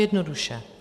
Jednoduše.